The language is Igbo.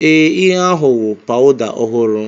Ee, ihe ahụ wụ powda ọhụrụ.